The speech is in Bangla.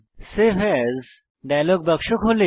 সেভ এএস ডায়লগ বাক্স খোলে